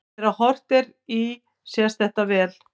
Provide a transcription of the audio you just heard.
Þegar horft er í sést þetta vel.